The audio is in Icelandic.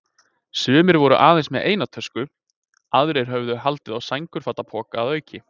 Sumir voru aðeins með eina tösku, aðrir höfðu haldið á sængurfatapoka að auki.